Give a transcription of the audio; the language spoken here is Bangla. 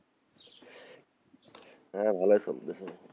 হ্যাঁ, ভালোই চলতেছে,